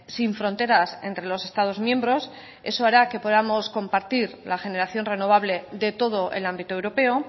sin fronteras entre los estados miembros eso hará que podamos compartir la generación renovable de todo el ámbito europeo